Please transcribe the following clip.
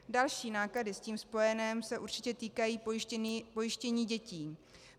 Další náklady s tím spojené se určitě týkají pojištění dětí.